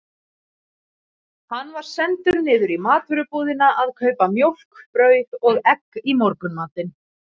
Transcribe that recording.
Hann var sendur niður í matvörubúðina að kaupa mjólk, brauð og egg í morgunmatinn.